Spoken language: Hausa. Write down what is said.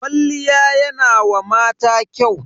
Kwalliya yana wa mata kyau.